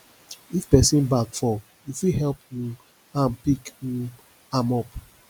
if pesin bag fall you fit help um am pick um am up